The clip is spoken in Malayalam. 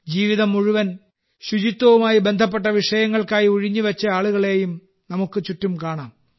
ജീവിതം മുഴുവൻ ശുചിത്വവുമായി ബന്ധപ്പെട്ട വിഷയങ്ങൾക്കായി ഉഴിഞ്ഞുവെച്ച ആളുകളെയും നമുക്ക് ചുറ്റും കാണാം